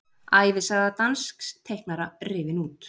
Ævisaga dansks teiknara rifin út